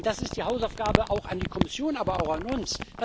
Und das ist die Hausaufgabe an die Kommission, aber auch an uns.